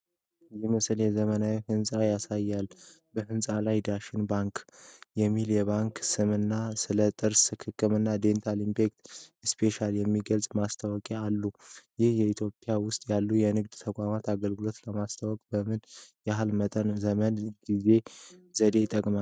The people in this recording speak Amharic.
ይህ ምስል የዘመናዊ ሕንፃን ያሳያል፤ በሕንፃው ላይ 'ዳሽን ባንክ' የሚል የባንክ ስምና ስለ ጥርስ ሕክምና (Dental Implants Specialty) የሚገልጹ ማስታወቂያዎች አሉ። ይህ በኢትዮጵያ ውስጥ ያሉ የንግድ ተቋማት አገልግሎቶቻቸውን ለማስተዋወቅ በምን ያህል መጠን ዘመናዊ ዘዴዎችን ይጠቀማሉ?